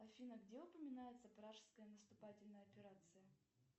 афина где упоминается пражская наступательная операция